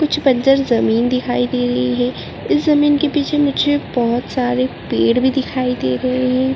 कुछ बंजर जमीन दिखाई दे रही है उस जमीन के पीछे मुझे बहौत सारे पेड़ भी दिखाई दे रहे हैं।